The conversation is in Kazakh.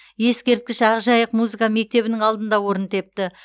ескерткіш ақжайық музыка мектебінің алдында орын тепті